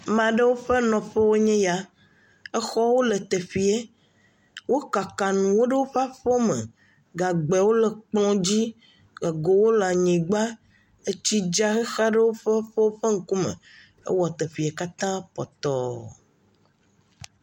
Ame ɖewo ƒe nɔƒewo nye ya exɔwo le teƒe wo kaka nuwo ɖe woƒe aƒewo me, gagbewo le kplɔ dzi, egowole anyigba, etsi dza hexa ɖe woƒe aƒewo ƒe ŋkume hewɔ teƒa katã pɔtɔɔɔ.